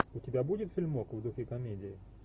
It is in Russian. у тебя будет фильмок в духе комедии